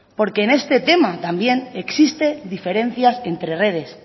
porque en este tema también existen diferencias entre redes